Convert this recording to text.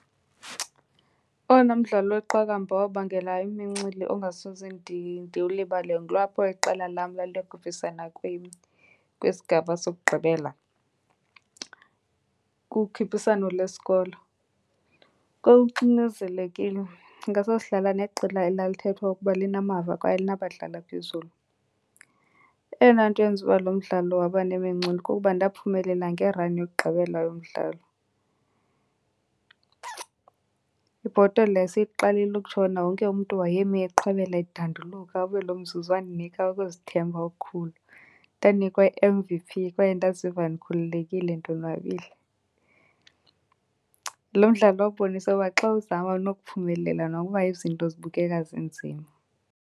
Owona mdlalo weqakamba owabangela imincili ongasoze ndiwulibale kulapho iqela lam laliyokhuphisana kwisigaba sokugqibela kukhuphiswano lesikolo. Kwakuxinezelekile, ndicinga sasidlala neqela elalithethwa ukuba linamava kwaye linabadlali aphezulu. Eyona nto eyenza uba lo mdlalo waba nemincili kukuba ndaphumelela ngerani yokugqibela yomdlalo. Ibhotolo yaseyiqalile ukutshona wonke umntu wayemi eqhwabela edanduluka wabe loo mzuzu wandinika ukuzithemba okukhulu. Ndanikwa i-M_V_P kwaye ndaziva ndikhululekile ndonwabile. Loo mdlalo wabonisa uba xa uzama unokuphumelela nokuba izinto zibukeka zinzima.